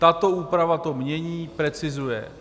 Tato úprava to mění, precizuje.